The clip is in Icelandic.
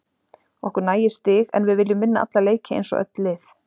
Okkur nægir stig en við viljum vinna alla leiki eins og öll lið.